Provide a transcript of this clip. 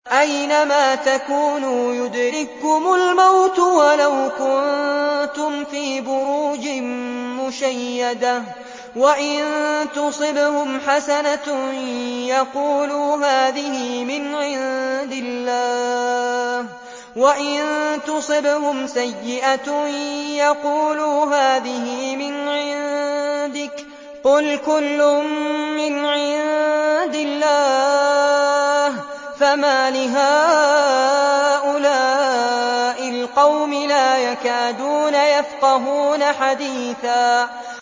أَيْنَمَا تَكُونُوا يُدْرِككُّمُ الْمَوْتُ وَلَوْ كُنتُمْ فِي بُرُوجٍ مُّشَيَّدَةٍ ۗ وَإِن تُصِبْهُمْ حَسَنَةٌ يَقُولُوا هَٰذِهِ مِنْ عِندِ اللَّهِ ۖ وَإِن تُصِبْهُمْ سَيِّئَةٌ يَقُولُوا هَٰذِهِ مِنْ عِندِكَ ۚ قُلْ كُلٌّ مِّنْ عِندِ اللَّهِ ۖ فَمَالِ هَٰؤُلَاءِ الْقَوْمِ لَا يَكَادُونَ يَفْقَهُونَ حَدِيثًا